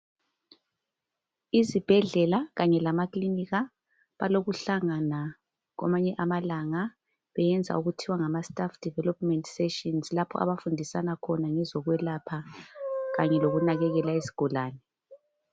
Izibhedlela kanye lamakilinika balokuhlangana kwamanye amalanga beyenza okuthiwa ngamastaff development sessions lapho abafundisana khona ngezokwelapha kanye lokunakekela izigulane.